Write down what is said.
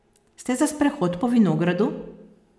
Ste za sprehod po vinogradu?